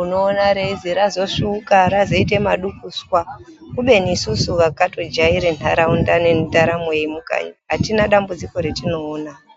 unoona reizi razosvuuka, razoite madukuswa kubeni isusu vakatojaire ntaraunda nendaramo yemukanyi atina dambudziko ratinoona.